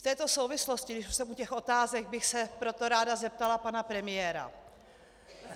V této souvislosti, když už jsem u těch otázek, bych se proto ráda zeptala pana premiéra.